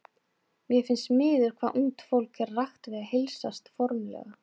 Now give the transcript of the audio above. Mér finnst miður hvað ungt fólk er ragt við að heilsast formlega.